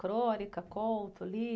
Crônica, conto,